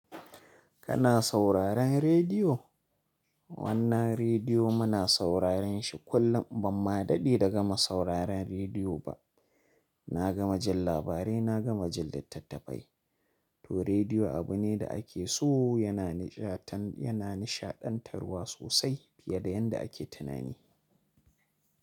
Kana sauraren rediyo? Wannan rediyo muna sauraren shi kullum. Ban ma daɗe da gama sauraren rediyo ba. Na gama jin labarai, na gama jin littattafai. To rediyo abu ne da ake so, yana nishaɗantarwa sosai fiye da yadda ake tunani.